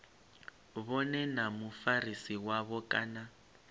vhone na mufarisi wavho kana